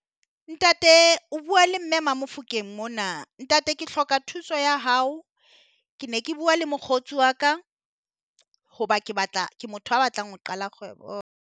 Ntate o bua le mme Mamofokeng mona ntate ke hloka thuso ya hao, ke ne ke bua le mokgotsi wa ka hoba ke batla ke motho a batlang ho qala kgwebo .